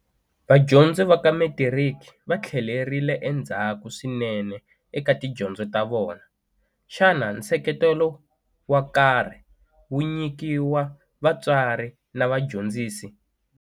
Vadyondzi va ka Metiriki va tlhelerile endzhaku swinene eka tidyondzo ta vona. Xana nseketelo wa karhi wu nyikiwa vatswari na vadyondzisi?